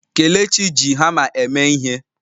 Kelechi ji hamma eme ihe.